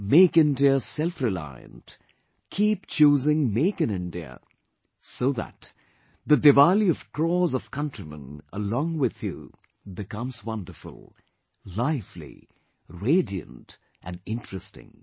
Make India selfreliant, keep choosing 'Make in India', so that the Diwali of crores of countrymen along with you becomes wonderful, lively, radiant and interesting